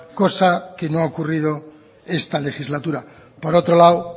cosa que no ha ocurrido esta legislatura por otro lado